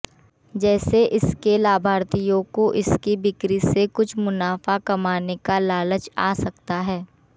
जैसे इसके लाभार्थियों को इसकी बिक्री से कुछ मुनाफा कमाने का लालच आ सकता है